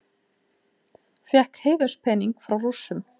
Fékk heiðurspening frá Rússum